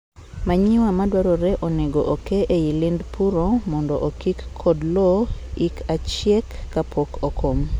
manure madwarore onego okee eiy lind puro mondo okik kod lowo ik achiek kapok okom.